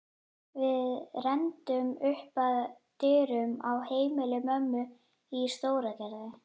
Við renndum upp að dyrum á heimili mömmu í Stóragerði.